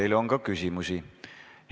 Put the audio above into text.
Teile on ka küsimusi.